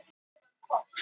Meistararnir gáfust upp